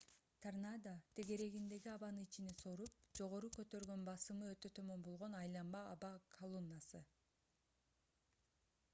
торнадо тегерегиндеги абаны ичине соруп жогору көтөргөн басымы өтө төмөн болгон айланма аба колоннасы